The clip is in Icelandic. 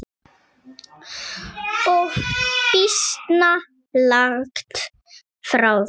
Og býsna langt frá því.